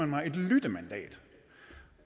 mig et lyttemandat